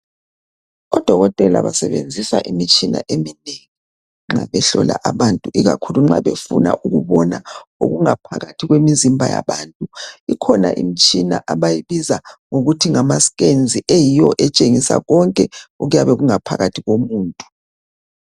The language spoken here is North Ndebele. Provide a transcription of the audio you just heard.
Odokotela basebenzisa imitshina eminengi, nxa behlola abantu. Ikakhulu nxa befuna ukubona, okungaphakathi kwemizimba yabantu. Kukhona imitshina abayibiza ngokuthi ngamascans. Eyabe itshengisa konke, okungaphakathi komzimba womuntu.